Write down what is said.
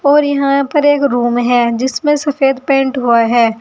और यहां पर एक रूम है जिसमें सफेद पेंट हुआ है।